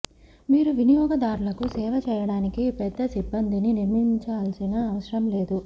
మీరు వినియోగదారులకు సేవ చేయడానికి పెద్ద సిబ్బందిని నియమించాల్సిన అవసరం లేదు